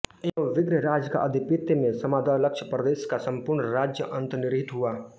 एवं विग्रहराज का आधिपत्य में समादलक्षप्रदेश का सम्पूर्ण राज्य अन्तर्निहित हुआ